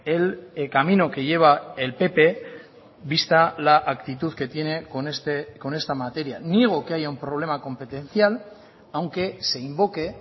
el camino que lleva el pp vista la actitud que tiene con esta materia niego que haya un problema competencial aunque se invoque